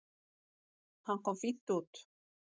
Hann kom fínt út.